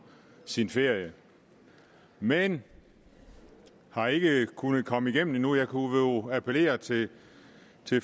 sin ferie men vi har ikke kunnet komme igennem endnu jeg kunne jo appellere til